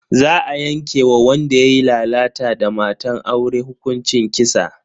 Za a yanke wa wanda yayi lalata da matan aure hukuncin kisa.